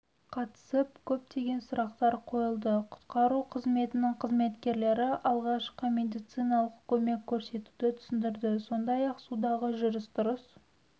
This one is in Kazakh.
қатысып көптеген сұрақтар қойылды құтқару қызметінің қызметкерлері алғашқы медициналық көмек көрсетуді түсіндірді сондай-ақ судағы жүріс-тұрыс